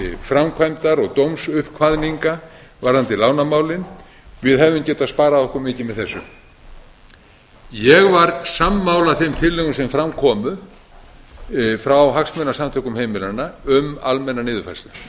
framkvæmdar og dómsuppkvaðninga varðandi lánamálin við hefðum getað sparað okkur mikið með þessu ég var sammála þeim tillögum sem fram komu frá hagsmunasamtökum heimilanna um almennar niðurfærslur